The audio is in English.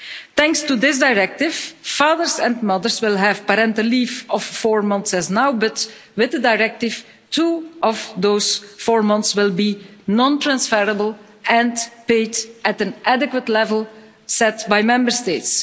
Thanks to this directive, fathers and mothers will have parental leave of four months, like now, but with the directive two of those four months will be non-transferable and paid at an adequate level set by Member States.